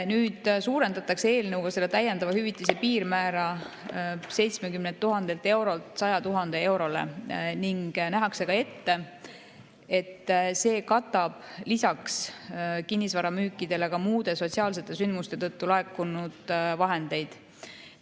Eelnõuga suurendatakse selle täiendava hüvitise piirmäära 70 000 eurolt 100 000 eurole ning nähakse ette, et see katab lisaks kinnisvaramüükidele ka muude sotsiaalsete sündmuste tõttu laekunud vahendeid.